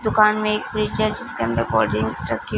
दुकान में एक व्हील चेयर जिसके अंदर कोल्डड्रिंक की--